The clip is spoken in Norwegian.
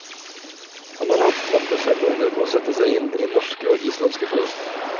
Han har hatt knappe fem måneder på å sette seg inn i norske og islandske forhold.